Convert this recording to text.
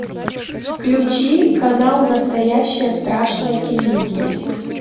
включи канал настоящее страшное телевидение